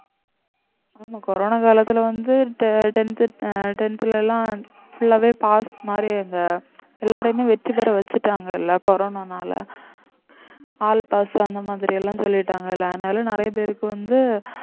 ஆமா கொரோனா காலத்துல வந்து te~ tenth அஹ் tenth ல எல்லாம் full ஆவே pass மாதிரி அங்க எல்லாரையுமே வெற்றி பெற வச்சுட்டாங்க எல்லா கொரோனானால all pass அந்த மாதிரி எல்லாம் சொல்லிட்டாங்க இல்லை அதனால நிறைய பேருக்கு வந்து